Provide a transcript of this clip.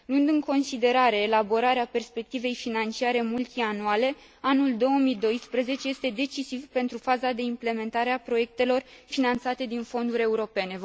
Luând în considerare elaborarea perspectivei financiare multianuale, anul 2012 este decisiv pentru faza de implementare a proiectelor finanțate din fonduri europene.